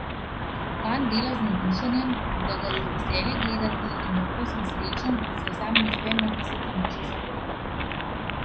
Fant dela z navdušenjem, da ga je veselje gledati, in lahko sem srečen, saj sam ne uspem napisati ničesar vrednega.